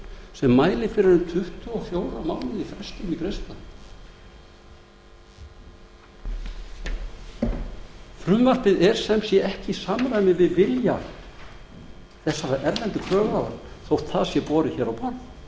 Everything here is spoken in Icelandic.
sem mælir fyrir um tuttugu og fjóra mánuði í greiðslustöðvun frumvarpið er sem sé ekki í samræmi við vilja þessara erlendu kröfuhafa þótt það sé borið hér á borð